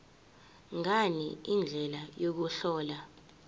ngani indlela yokuhlola